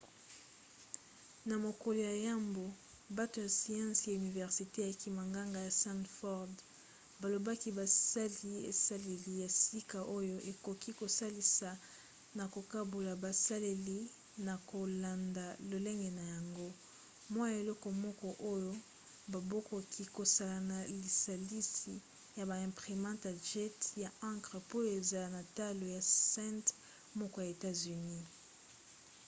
na mokolo ya yambo bato ya siansi ya universite ya kimonganga ya stanford balobaki basali esaleli ya sika oyo ekoki kosalisa na kokabola baselile na kolanda lolenge na yango: mwa eloko moko oyo bakoki kosala na lisalisi ya ba imprimantes à jet ya encre po ezala na talo ya cent moko ya etats-unis